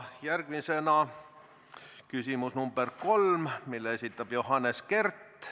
Järgmisena küsimus nr 3, mille esitab Johannes Kert.